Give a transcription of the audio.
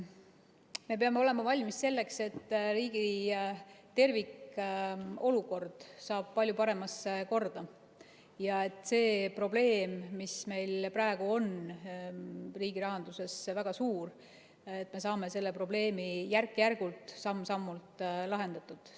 Me peame olema valmis selleks, et riigi tervikolukord saab palju paremasse korda ja selle probleemi, mis meil praegu on riigi rahanduses väga suur, me saame järk-järgult, samm-sammult lahendatud.